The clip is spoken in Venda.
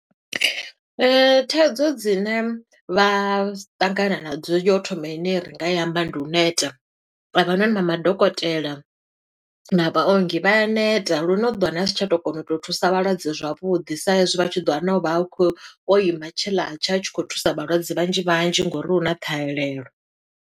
Thaidzo dzine vha ṱangana na dzo, yo u thoma ine ri nga i amba, ndi u neta. A vhanoni na madokotela, na vhaongi vha ya neta lune u ḓo wana a si tsha to kona u to thusa vhalwadze zwavhuḓi, sa e zwi vha tshi ḓo wana o vha a khou, o ima tshe ḽa tsha, a tshi khou thusa vhalwadze vhanzhi vhanzhi ngo uri hu na ṱhahelelo.